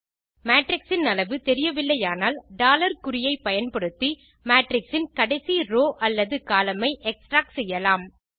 matrix இன் அளவு தெரியவில்லையானால் குறியைப் பயன்படுத்தி மேட்ரிக்ஸ் இன் கடைசி ரோவ் அல்லது கோலம்ன் ஐ எக்ஸ்ட்ராக்ட் செய்யலாம்